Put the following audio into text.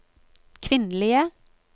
kvinnelige